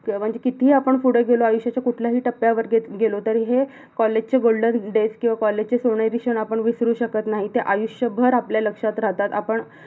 अं म्हणजे कितीही आपण पुढे गेलो, आयुष्याच्या कुठल्याही टप्प्यावर गे~ गेलो तर हे college चे golden days किवा college चे सोनेरी क्षण आपण विसरू शकत नाहीत ते आयुष्यभर आपल्या लक्षात राहतात, आपण